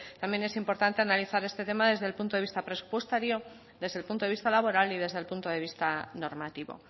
también es importante analizar este tema desde el punto de vista presupuestario desde el punto de vista laboral y desde el punto de vista normativo